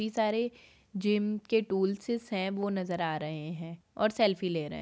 ये सारे जिम के टूल्सेस है वो नजर आ रहे हैं और सेल्फी ले रहे हैं।